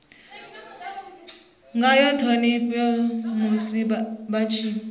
ngayo ṱhonipho musi vha tshi